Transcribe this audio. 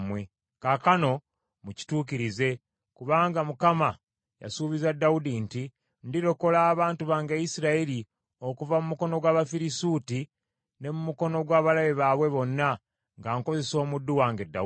Kaakano mukituukirize, kubanga Mukama yasuubiza Dawudi nti, ‘Ndirokola abantu bange Isirayiri okuva mu mukono gw’Abafirisuuti ne mu mukono gw’abalabe baabwe bonna, nga nkozesa omuddu wange Dawudi.’ ”